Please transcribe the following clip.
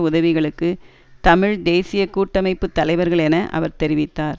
உதவிகளுக்கு தமிழ் தேசிய கூட்டமைப்பு தலைவர்கள் என அவர் தெரிவித்தார்